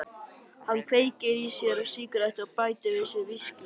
Hann kveikir sér í sígarettu og bætir á sig viskíi.